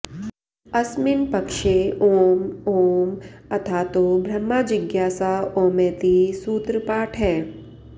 अस्मिन् पक्षे ओम ओम् अथातो ब्रह्मजिज्ञासा ओमैति सूत्रपाठः